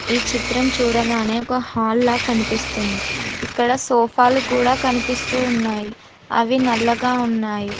ఈ చిత్రం చూడగానే ఒక హాల్ లా కనిపిస్తుంది ఇక్కడ సోఫాలు కూడా కనిపిస్తూ ఉన్నాయి అవి నల్లగా ఉన్నాయి.